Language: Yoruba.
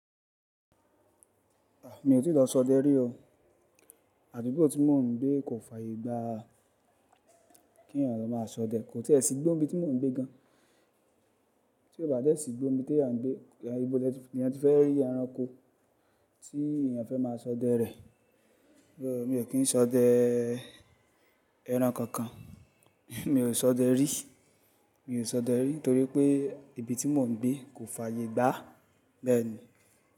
A! Mi ò tí lọ sọdẹ rí o. Adugbo ti mọ̀ n gbé kò fààyè gbá kí ẹ̀yàn ló maá sọdẹ. Kò tíì ẹ sì igbo n bí tí mò ń gbé gan. Ti o ba dé sí igbo n bi tí eeyan n gbé, ibo ni ènìyàn ti fẹ́ rí ẹranko tí èeyàn fẹ́ má sọdẹ rẹ̀. Mi o kí n sọdẹ ẹran kankan. Mi ò sọdẹ rí, mi ò sọdẹ rí nitorí pé ibi tí mò n gbé kò fààyè gbá. Bẹ́ẹ̀ ni.